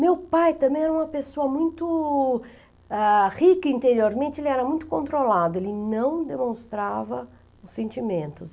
Meu pai também era uma pessoa muito, ah, rica interiormente, ele era muito controlado, ele não demonstrava os sentimentos.